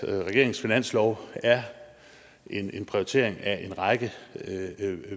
regeringens finanslov er en prioritering af en række